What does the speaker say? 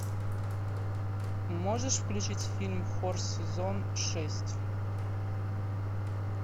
можешь включить фильм хор сезон шесть